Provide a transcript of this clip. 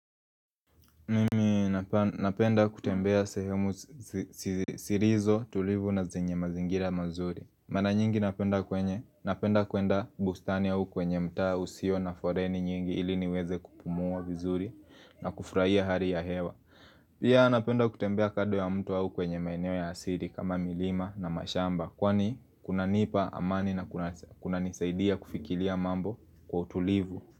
Mimi napenda kutembea sehemu zilizo tulivu na zenye mazingira mazuri Mara nyingi napenda kwenye napenda kwenda bustani au kwenye mtaa usio na foleni nyingi ili niweze kupumua vizuri na kufurahia hali ya hewa Pia napenda kutembea kando ya mto au kwenye maeneo ya asili kama milima na mashamba Kwani kunanipa amani na kunanisaidia kufikiria mambo kwa utulivu.